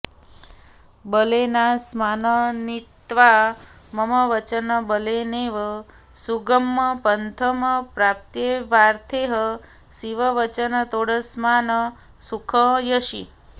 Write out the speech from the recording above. बलेनास्मान् नीत्वा मम वचनबलेनैव सुगमं पथं प्राप्त्यैवार्थैः शिववचनतोऽस्मान् सुखयसि